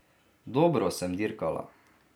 Dobro sem dirkala.